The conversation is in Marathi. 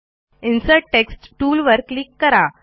इन्सर्ट टेक्स्ट टूलवर क्लिक करा